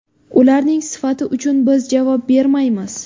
Ularning sifati uchun biz javob bermaymiz.